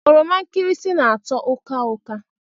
Oroma nkirisi na-atọ ụka ụka.